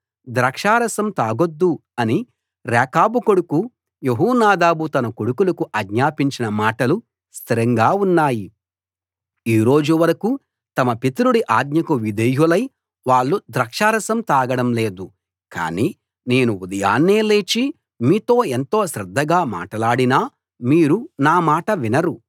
ద్రాక్షారసం తాగొద్దు అని రేకాబు కొడుకు యెహోనాదాబు తన కొడుకులకు ఆజ్ఞాపించిన మాటలు స్థిరంగా ఉన్నాయి ఈ రోజు వరకూ తమ పితరుడి ఆజ్ఞకు విధేయులై వాళ్ళు ద్రాక్షారసం తాగడం లేదు కాని నేను ఉదయాన్నే లేచి మీతో ఎంతో శ్రద్ధగా మాట్లాడినా మీరు నా మాట వినరు